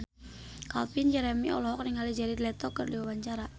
Calvin Jeremy olohok ningali Jared Leto keur diwawancara